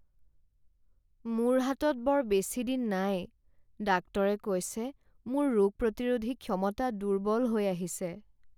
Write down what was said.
মোৰ হাতত বৰ বেছিদিন নাই। ডাক্তৰে কৈছে মোৰ ৰোগ প্ৰতিৰোধী ক্ষমতা দুৰ্বল হৈ আহিছে।